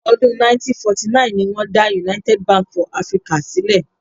Ọdún 1949 ni wọ́n dá United Bank for Africa sílẹ̀.